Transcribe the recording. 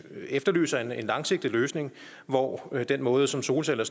efterlyser en langsigtet løsning hvor den måde som solceller